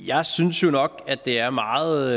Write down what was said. jeg synes jo nok at det er meget